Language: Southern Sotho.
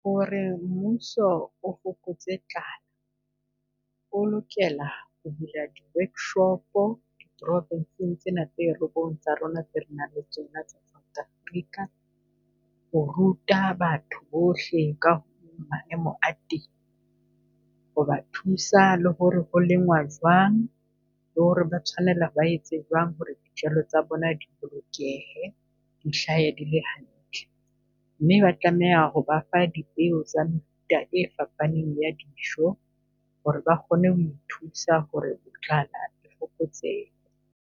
Hore mmuso o fokotse tlala, o lokela o ho bula di-workshop-o province-eng tsena tse robong tsa rona, tse re nang le tsona tsa South Africa. Ho ruta batho bohle ka ho maemo a teng, ho ba thusa le hore ho lengwa jwang, le hore ba tshwanela ba etse jwang hore dijalo tsa bona di bolokehe. Di hlahe di le hantle. Mme ba tlameha ho ba fa dipeo tsa mefuta e fapaneng ya dijo, hore ba kgone ho ithusa hore tlala e fokotsehe.